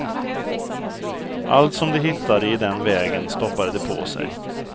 Allt som de hittade i den vägen stoppade de på sig.